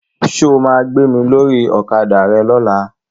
Ṣo ma gbé mi lórí Ọ̀kadà rẹ lọ́la?